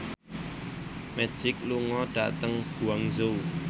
Magic lunga dhateng Guangzhou